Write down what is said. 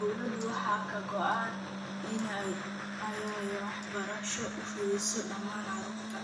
Dowladda waxaa ka go�an in ay waxbarasho u fidiso dhammaan carruurta.